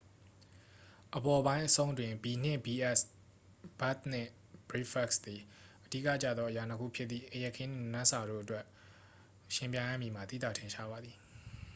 အပေါ်ပိုင်းအဆုံးတွင်၊ ဘီနှင့်ဘီအက်စ် ဘက်ဒ်နှင့်ဘရိတ်ဖက်စ် သည် အဓိကကျသောအရာနှစ်ခုဖြစ်သည့် အိပ်ရာခင်းနှင့် နံနက်စာတို့အတွက် ယှဉ်ပြိုင်ရမည်မှာ သိသာထင်ရှားပါသည်။